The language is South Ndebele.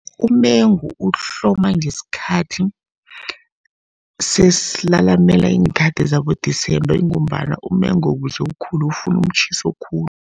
Umengu uhloma ngesikhathi, sesilalamela iinkhathi zabo-December, ingombana umengo ukuze ukhule ufuna umtjhiso khulu.